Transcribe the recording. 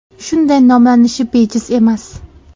Shunday nomlanishi bejiz emas.